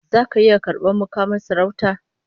Zaka iya karbar mukamin sarauta?